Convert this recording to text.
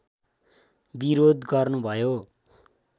विरोध गर्नुभयो